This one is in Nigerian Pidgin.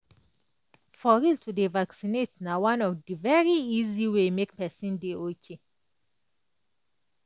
for real to dey vaccinated na one of the very easy way make pesin dey ok